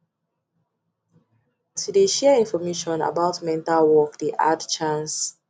to de share information about mental work de add chance